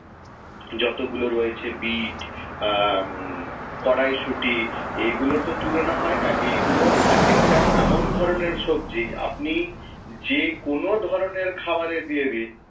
যতগুলো রয়ছে বিট আহ কড়াইশুঁটি এই গুলোর তো তুলনা হয় না এইগুলো একেক টা এমন ধরণের সবজি আপনি যে কোন ধরণের খাবারে দিয়ে দিন,